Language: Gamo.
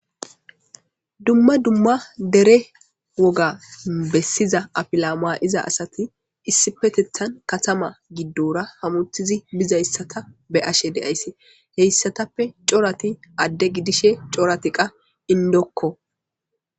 Dumma dumma dere woga bessiza afila maa'iza asati issipetethan katama giddora hamuthizi bizayssata be ashe deayssi heyssatappe corati adde gidishe coratiqa indokko.